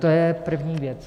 To je první věc.